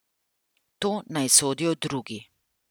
To naj sodijo drugi.